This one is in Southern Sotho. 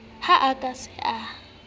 ha a ka a se